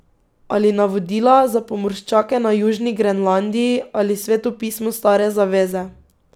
Ali Navodila za pomorščake na Južni Grenlandiji ali Sveto pismo stare zaveze.